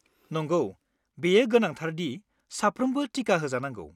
नंगौ, बेयो गोनांथार दि साफ्रोमबो टिका होजानांगौ।